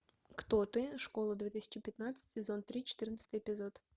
кто ты школа две тысячи пятнадцать сезон три четырнадцатый эпизод